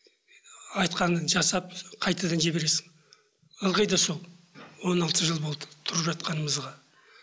айтқанын жасап қайтадан жібересің ылғи да сол он алты жыл болды тұрып жатқанымызға